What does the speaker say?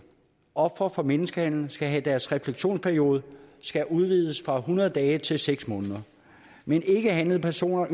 ofre for menneskehandel skal have deres refleksionsperiode udvidet fra hundrede dage til seks måneder mens ikkehandlede personer